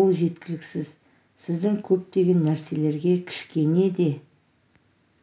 ол жеткілікісіз сіздің көптеген нәрселерге кішкене де